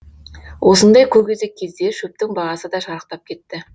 осындай көкөзек кезде шөптің бағасы да шарықтап кетті